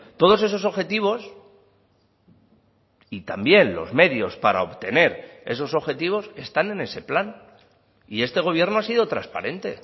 todos esos objetivos y también los medios para obtener esos objetivos están en ese plan y este gobierno ha sido transparente